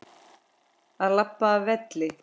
Að labba af velli?